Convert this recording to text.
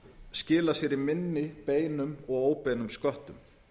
skila sér í minni beinum og óbeinum sköttum